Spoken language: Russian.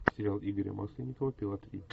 сериал игоря масленникова пила три